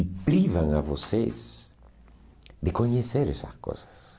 e privam a vocês de conhecer essas coisas.